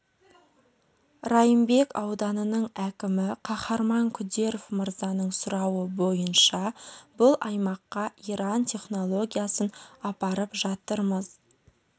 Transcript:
райымбек ауданының әкімі қаһарман күдеров мырзаның сұрауы бойынша бұл аймаққа иран технологиясын апарып жатырмыз